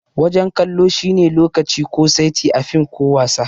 Wajen kallo shi ne lokaci ko saiti a fim ko wasa.